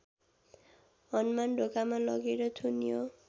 हनुमानढोकामा लगेर थुन्यो